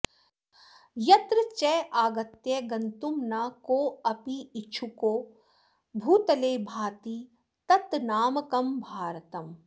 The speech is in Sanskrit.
यत्र चागत्य गन्तुं न कोऽपीच्छुको भूतले भाति तन्मामकं भारतम्